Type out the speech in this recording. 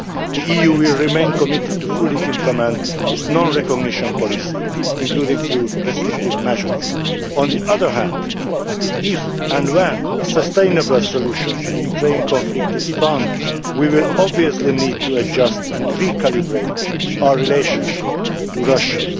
The EU will remain committed to fully implementing its non recognition policy, including through restrictive measures. On the other hand, if and when a sustainable solution to the Ukraine conflict is found, we will obviously need to adjust and recalibrate our relationship with Russia.